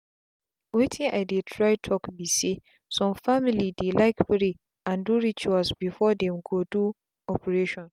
wetin i dey try talk be saysome family dey like pray and do rituals before them go do operation.